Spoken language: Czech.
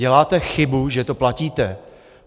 Děláte chybu, že to platíte.